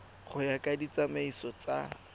go ya ka ditsamaiso tsa